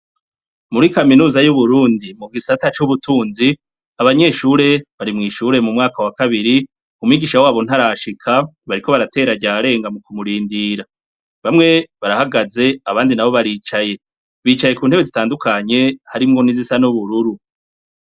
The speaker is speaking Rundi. Muri kaminuza y'Uburundi, mu gisata c'ubutunzi, abanyeshure bari mw'ishure mu mwaka wa kabiri. Umwigisha w'abo ntarashika, bariko baratera ryarenga mu kumurindira. Bamwe barahagaze, abandi baricaye. Bicaye ku ntebe zitandukanye, harimwo n'izisa n'ubururu.